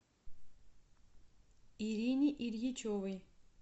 ирине ильичевой